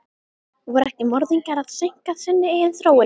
Voru ekki morðingjarnir að seinka sinni eigin þróun?